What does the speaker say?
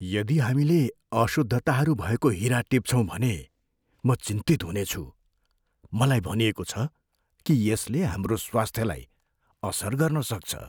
यदि हामीले अशुद्धताहरू भएको हिरा टिप्छौँ भने म चिन्तित हुनेछु। मलाई भनिएको छ कि यसले हाम्रो स्वास्थ्यलाई असर गर्न सक्छ।